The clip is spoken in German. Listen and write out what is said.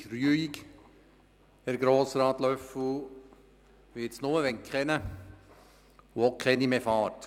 So richtig ruhig, Herr Grossrat Löffel, wird es nur, wenn keiner oder keine mehr fährt.